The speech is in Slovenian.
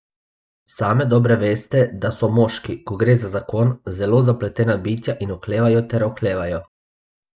Same dobro veste, da so moški, ko gre za zakon, zelo zapletena bitja in oklevajo ter oklevajo.